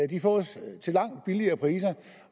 de fås langt billigere